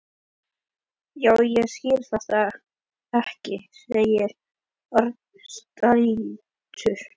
Já, ég skil þetta ekki sagði Örn spældur.